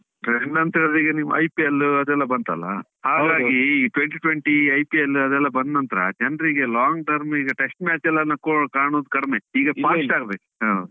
Trend ಅಂತ ಹೇಳಿದ್ರೆ ನಿಮ್ಮ IPL ಅದೆಲ್ಲ ಬಂತಲ್ಲ, ಈ twenty-twenty IPL ಅದೆಲ್ಲ ಬಂದ್ನಂತ್ರ ಜನರಿಗೆಲ್ಲ long term ಈಗ test match ಎಲ್ಲ ಕಾಣೋದು ಕಡಿಮೆ ಈಗ fast ಆಡ್ಬೇಕು.